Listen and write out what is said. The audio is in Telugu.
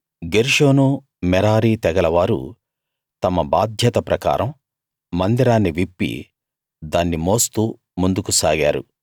గెర్షోను మెరారి తెగలవారు తమ బాధ్యత ప్రకారం మందిరాన్ని విప్పి దాన్ని మోస్తూ ముందుకు సాగారు